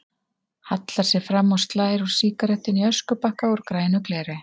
Hallar sér fram og slær úr sígarettunni í öskubakka úr grænu gleri.